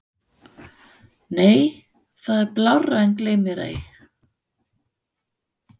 Nei það er blárra en gleymmérei.